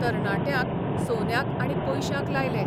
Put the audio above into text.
तरणाट्यांक सोन्याक आनी पयशांक लायले.